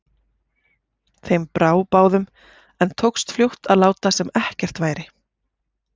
Þeim brá báðum, en tókst fljótt að láta sem ekkert væri.